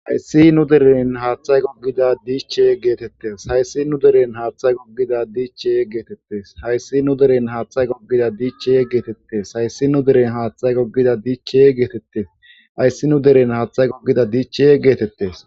Hayssi nu deren haaththay goggida diiche geetettes hayssi nu deren haaththa goggida diiche geetettes hayssi nu deren haaththay goggida diichee geetettes hayssi nu deren haaththay goggida diiche geetettes ayssi nu deren haaththay gogida diichee geetettes